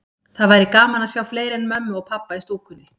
Það væri gaman að sjá fleiri en mömmu og pabba í stúkunni.